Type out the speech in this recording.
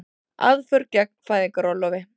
Aðför gegn fæðingarorlofi